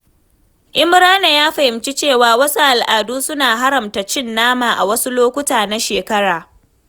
Imrana ya fahimci cewa wasu al'adu suna haramta cin nama a wasu lokuta na shekara.